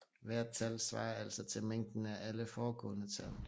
Hvert tal svarer altså til mængden af alle foregående tal